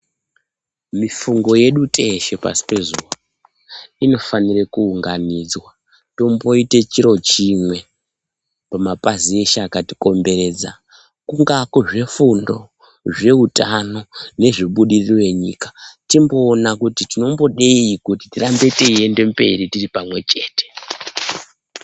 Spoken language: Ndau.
Mifungo yedu teshe pasi pezuwa inofanire kuunganidzwa tomboite chiro chimwe pamapazi eshe akatikomberedza kungaa kune zvefundo, zveutano nezvebudiriro yenyika timboona kuti tinombodei kuti tirambe teienda mberi tiri pamwechete.